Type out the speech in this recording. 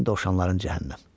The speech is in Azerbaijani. Sənin dovşanların cəhənnəm.